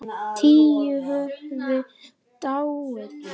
Tíu höfðu dáið.